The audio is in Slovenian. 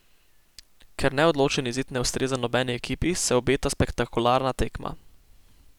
Ker neodločen izid ne ustreza nobeni ekipi, se obeta spektakularna tekma.